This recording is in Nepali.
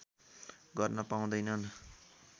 गर्न पाउँदैनन्